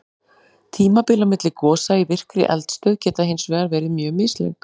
Tímabil á milli gosa í virkri eldstöð geta hins vegar verið mjög mislöng.